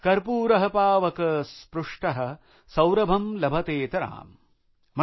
कर्पूर पावक स्पृष्ट सौरभं लभतेतराम ।।